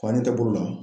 Fani kɛ bolo la